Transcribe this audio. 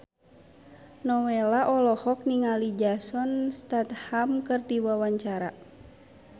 Nowela olohok ningali Jason Statham keur diwawancara